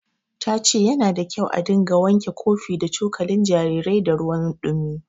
Ta ce yana da kyau a dinga wanke kofi da cokalin jarirai da ruwan ɗumi.